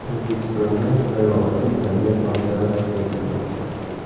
O‘zbekistonda g‘ayrioddiy tabiat hodisasi kuzatilmoqda.